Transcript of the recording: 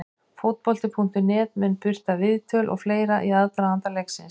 Fótbolti.net mun birta viðtöl og fleira í aðdraganda leiksins.